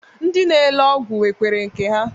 Ndị na-ele ọgwụ nwekwere nke ha